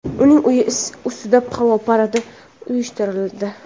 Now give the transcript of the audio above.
Uning uyi ustida havo paradi uyushtirildi.